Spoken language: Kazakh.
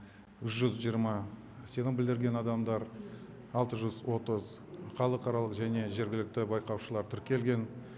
жүз жиырма сенім білдірген адамдар алты жүз отыз халықаралық және жергілікті байқаушылар тіркелген